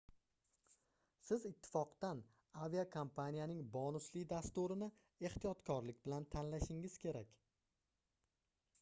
siz ittifoqdan aviakompaniyaning bonusli dasturini ehtiyotkorlik bilan tanlashingiz kerak